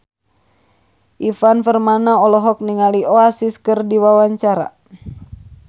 Ivan Permana olohok ningali Oasis keur diwawancara